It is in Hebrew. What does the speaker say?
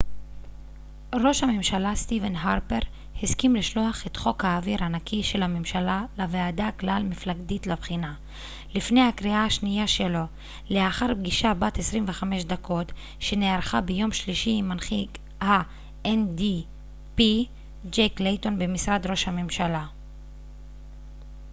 "ראש הממשלה סטיבן הרפר הסכים לשלוח את "חוק האוויר הנקי" של הממשלה לוועדה כלל מפלגתית לבחינה לפני הקריאה השנייה שלו לאחר פגישה בת 25 דקות שנערכה ביום שלישי עם מנהיג ה-ndp ג'ק לייטון במשרד ראש הממשלה.